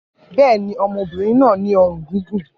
Bẹ́ẹ̀ ni, ọmọbìnrin náà ní ọrùn gígùn.